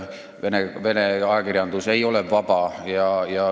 Vene ajakirjandus ei ole vaba.